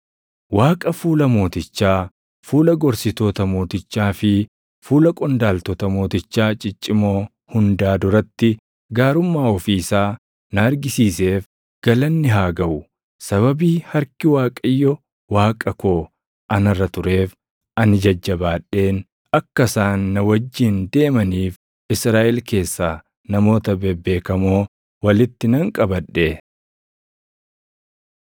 Waaqa fuula mootichaa, fuula gorsitoota mootichaa fi fuula qondaaltota mootichaa ciccimoo hundaa duratti gaarummaa ofii isaa na argisiiseef galanni haa gaʼu. Sababii harki Waaqayyo Waaqa koo anarra tureef ani jajjabaadheen akka isaan na wajjin deemaniif Israaʼel keessaa namoota bebeekamoo walitti nan qabadhe.